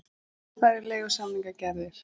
Færri leigusamningar gerðir